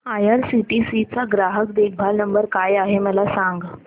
IRCTC चा ग्राहक देखभाल नंबर काय आहे मला सांग